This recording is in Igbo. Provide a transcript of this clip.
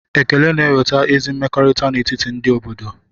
Ekele na-eweta ezi mmekọrịta n'etiti ndị obodo.